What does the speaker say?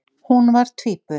Hún var tvíburi.